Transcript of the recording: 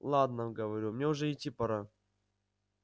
ладно говорю мне уже идти пора